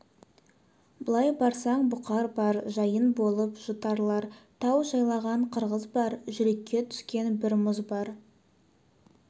былай барсаң бұқар бар жайын болып жұтарлар тау жайлаған қырғыз бар жүрекке түскен бір мұз бар